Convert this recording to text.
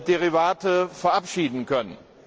Derivate verabschieden können.